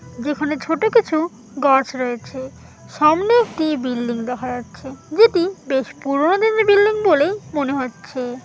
যেখানে ছোট কিছু গাছ রয়েছে সামনে একটি বিল্ডিং দেখা যাচ্ছে যেটি বেশ পুরোনো দিনের বিল্ডিং বলেই মনে হচ্ছে।